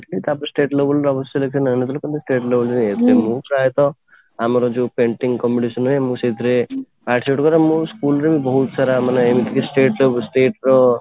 ତାପରେ state level ରେ ଅନୁଷ୍ଠିତ ହେଲେ state level କୁ ଯାଇଥିଲି ମୁଁ ପ୍ରୟତଃ ଆମର ଯୋଉ painting competition ହୁଏ ମୁଁ ସେଇଥିରେ art କରେ ମୁଁ school ରେ ବହୁତ ସାରା ମାନେ ଏମିତି କି state ର